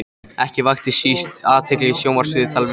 Ekki vakti síst athygli sjónvarpsviðtal við